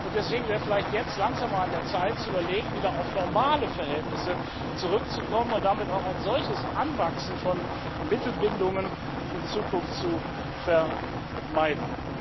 Deswegen wäre er vielleicht jetzt langsam auch an der Zeit zu überlegen, wieder auf normale Verhältnisse zurückzukommen und damit auch ein solches Anwachsen von Mittelbindungen in Zukunft zu vermeiden.